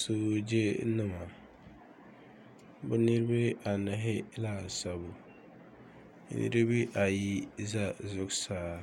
Soojenima bɛ niriba anahi laasabu niriba ayi za zuɣusaa